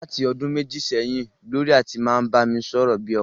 Láti ọdún méjì sẹ́yìn ni Glory ti máa ń bá mi sọ̀rọ̀ bí ọkọ rẹ̀.